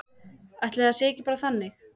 Ætli það sé ekki bara þannig.